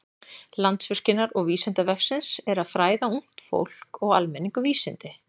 Sameiginlegt markmið Landsvirkjunar og Vísindavefsins er að fræða ungt fólk og almenning um vísindi.